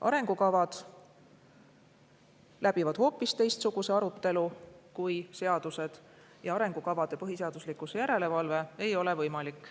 Arengukavad läbivad hoopis teistsuguse arutelu kui seadused ja arengukavade põhiseaduslikkuse järelevalve ei ole võimalik.